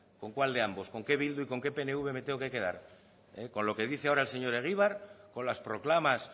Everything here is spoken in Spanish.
con cuál de ambos con qué bildu y con qué pnv me tengo que quedar con lo que dice ahora el señor egibar con las proclamas